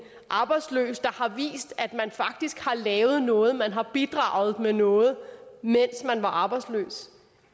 arbejdsløs der har vist at man faktisk har lavet noget at man har bidraget med noget mens man var arbejdsløs